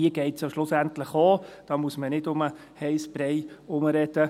Um diese geht es ja schlussendlich auch, da muss man nicht um den heissen Brei herumreden.